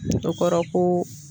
O kɔrɔ ko